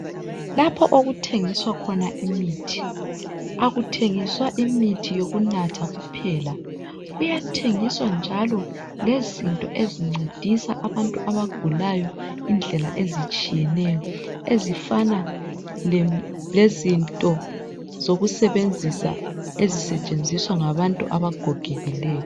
Lapho okuthengiswa khona imithi akuthengiawa imithi yokunatha kuphela. Kuyathengiswa njalo lezinto ezincedisa abantu abagulayo indlela ezitshiyeneyo ezifana lezinto zokusebenzisa ezisetshenziswa ngabantu abagogekileyo.